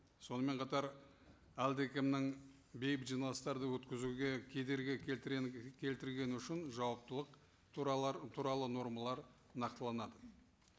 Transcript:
сонымен қатар әлдекімнің бейбіт жиналыстарды өткізуге кедергі келтіргені үшін жауаптылық туралы нормалар нақтыланады